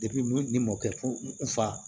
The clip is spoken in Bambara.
ni mɔkɛ ko n fa